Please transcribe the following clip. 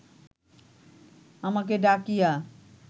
আমাকে ডাকিয়া